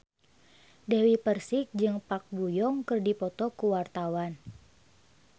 Dewi Persik jeung Park Bo Yung keur dipoto ku wartawan